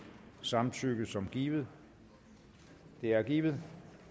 samtykke som givet det er givet